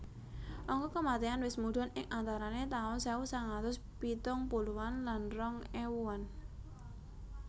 Angka kematian wis mudhun ing antarane taun sewu sangang atus pitung puluhan lan rong ewuan